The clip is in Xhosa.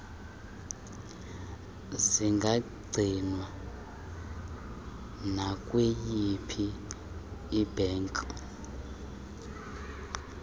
zingagcinwa nakwiyiphi ibhanki